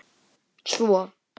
Svo?